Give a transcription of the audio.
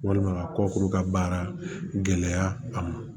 Walima ka kɔkuru ka baara gɛlɛya a ma